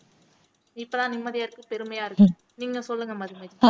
இப்பதான் நிம்மதியா இருக்கு பெருமையா இருக்கு நீங்க சொல்லுங்க மதுமிதா